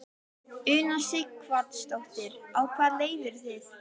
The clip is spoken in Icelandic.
Una Sighvatsdóttir: Á hvaða leið eru þið?